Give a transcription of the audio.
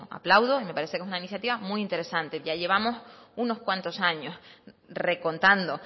aplaudo y me parece que es una iniciativa muy interesante ya llevamos unos cuanto años recontando